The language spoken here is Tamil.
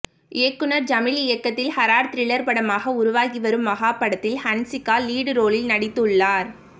இயக்குநர் ஜமீல் இயக்கத்தில் ஹாரர் த்ரில்லர் படமாக உருவாகி வரும் மஹா படத்தில் ஹன்சிகா லீடு ரோலில் நடித்துள்ளார்